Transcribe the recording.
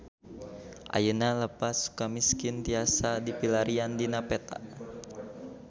Ayeuna Lapas Sukamiskin tiasa dipilarian dina peta